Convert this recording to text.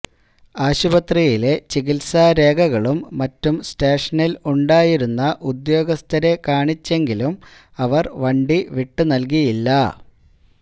ആശുപത്രിയിലെ ചികിത്സാരേഖകളും മറ്റും സ്റ്റേഷനിൽ ഉണ്ടായിരുന്ന ഉദ്യോഗസ്ഥരെ കാണിച്ചെങ്കിലും അവർ വണ്ടി വിട്ടുനല്കിയില്ല